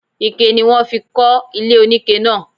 Ike ni wọ́n fi kọ́ ilé oníke náa.